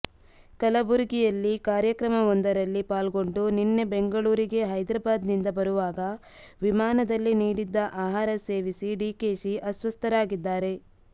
ಕಲಬರಗಿಯಲ್ಲಿ ಕಾರ್ಯಕ್ರಮವೊಂದರಲ್ಲಿ ಪಾಲ್ಗೊಂಡು ನಿನ್ನೆ ಬೆಂಗಳೂರಿಗೆ ಹೈದರಾಬಾದ್ ನಿಂದ ಬರುವಾಗ ವಿಮಾನದಲ್ಲಿ ನೀಡಿದ್ದ ಆಹಾರ ಸೇವಿಸಿ ಡಿಕೆಶಿ ಅಸ್ವಸ್ಥರಾಗಿದ್ದಾರೆ